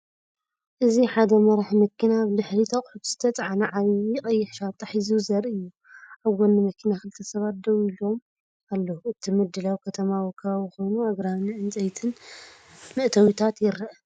እዚ ሓደ መራሒ መኪና ኣብ ድሕሪት ኣቑሑት ዝተጻዕነ ዓቢ ቀይሕ ሻንጣ ሒዙ ዘርኢ እዩ። ኣብ ጎኒ መኪና ክልተ ሰባት ደው ኢሎም ኣለው። እቲ ምድላው ከተማዊ ከባቢ ኮይኑ፡ ኣግራብን ዕንጨይትን መእተዊታት ይርአ።